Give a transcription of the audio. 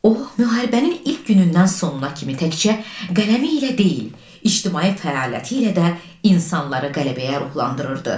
O, müharibənin ilk günündən sonuna kimi təkcə qələmi ilə deyil, ictimai fəaliyyəti ilə də insanları qələbəyə ruhlandırırdı.